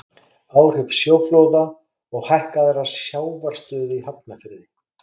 Áhrif sjóflóða og hækkaðrar sjávarstöðu í Hafnarfirði.